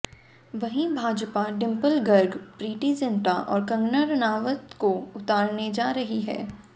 वहीं Bhajpa dimple girl Preity Zinta और कंगना रणावत को उतारने जा रही है